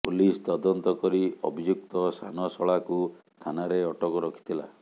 police ତଦନ୍ତ କରି ଅଭିଯୁକ୍ତ ସାନ ଶଳାକୁ ଥାନାରେ ଅଟକ ରଖିଥିଲା